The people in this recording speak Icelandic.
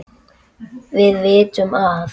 Við vitum að